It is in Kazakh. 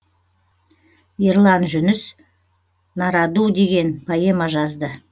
ерлан жүніс нараду деген поэма жазды